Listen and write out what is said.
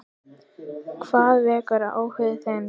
Hvað vekur áhuga þinn?